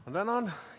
Ma tänan!